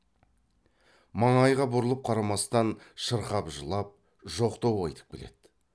маңайға бұрылып қарамастан шырқап жылап жоқтау айтып келеді